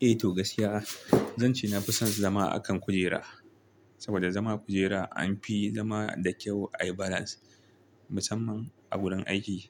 Eh to gaskiya zan ce na fi son zama a kan kujera. Saboda zama a kujera an fi zama da kyau ai balance, musamman a wurin aiki.